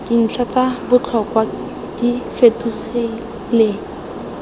dintlha tsa botlhokwa di fetogele